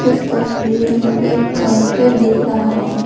इस तस्वीर में एक कैफे दिख रहा है।